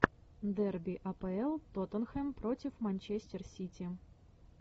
дерби апл тоттенхэм против манчестер сити